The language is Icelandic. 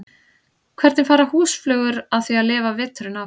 Hvernig fara húsflugur að því að lifa veturinn af?